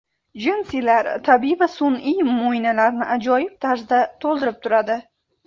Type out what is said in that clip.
Jinsilar tabiiy va sun’iy mo‘ynalarni ajoyib tarzda to‘ldirib turadi.